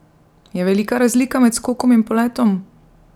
Je velika razlika med skokom in poletom?